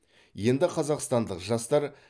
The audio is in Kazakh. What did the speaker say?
енді қазақстандық жастар